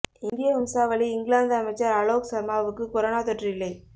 இந்திய வம்சாவளி இங்கிலாந்து அமைச்சர் அலோக் சர்மாவுக்கு கொரோனா தொற்று இல்லை